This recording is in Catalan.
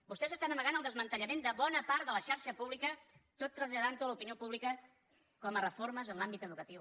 vostès estan amagant el desmantellament de bona part de la xarxa pública tot traslladant ho a l’opinió pública com a reformes en l’àmbit educatiu